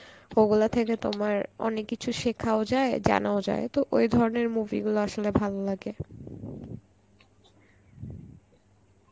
ওগুলা থেকে তোমার অনেক কিছু শেখাও যায়, জানাও যায় তো ওই ধরনের movie গুলা আসলে ভাললাগে.